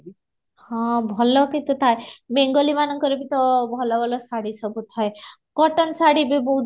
ହଁ, ଭଲ କିନ୍ତୁ ଥାଏ ବେଙ୍ଗୋଲୀ ମାନଙ୍କର ବି ତ ଭଲ ଭଲ ଶାଢୀ ସବୁ ଥାଏ cotton ଶାଢ଼ୀ ବି ବହୁତ